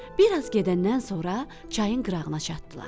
Bir az gedəndən sonra çayın qırağına çatdılar.